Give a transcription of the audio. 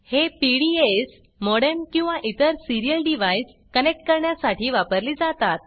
हे PDAs modem किंवा इतर सिरियल डिव्हाइसकनेक्ट करण्यासाठी वापरली जातात